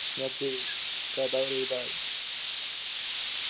Mjalldís, hvaða dagur er í dag?